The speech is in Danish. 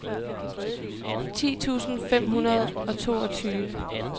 ti tusind fem hundrede og toogtyve